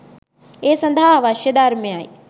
ඒ සඳහා අවශ්‍ය ධර්මයයි.